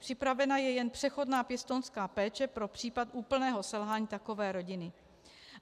Připravena je jen přechodná pěstounská péče pro případ úplného selhání takové rodiny.